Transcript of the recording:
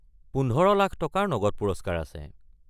পোন্ধৰ লাখ টকাৰ নগদ পুৰস্কাৰ আছে।